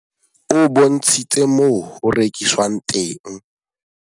O bontshitse moo ho rekiswang teng.